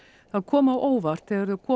það kom á óvart þegar þau komu